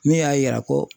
Ne y'a yira ko